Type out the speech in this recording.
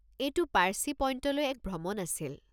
এইটো পার্চী পইণ্টলৈ এক ভ্রমণ আছিল।